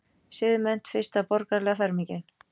Siðmennt- fyrsta borgaralega fermingin.